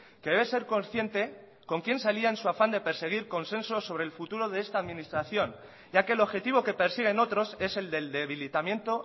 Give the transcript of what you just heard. que debe ser consciente con quién se alía con su afán de conseguir consenso sobre el futuro de esta administración ya que el objetivo que persiguen otros es el del debilitamiento